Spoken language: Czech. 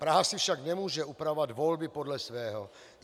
Praha si však nemůže upravovat volby podle svého.